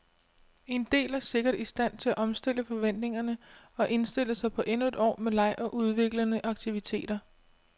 En del er sikkert i stand til at omstille forventningerne og indstille sig på endnu et år med leg og udviklende aktiviteter.